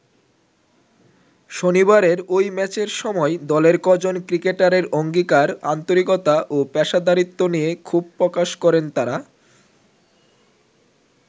শনিবারের ঐ ম্যাচের সময় দলের কজন ক্রিকেটারের অঙ্গীকার, আন্তরিকতা ও পেশাদারিত্ব নিয়ে ক্ষোভ প্রকাশ করেন তারা।